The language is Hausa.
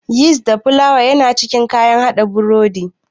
Yist da filawa yana cikin kayan haɗa burodi.